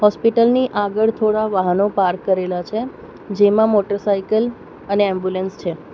હોસ્પિટલની આગળ થોડા વાહનો પાર્ક કરેલા છે જેમાં મોટરસાયકલ અને એમ્બ્યુલન્સ છે.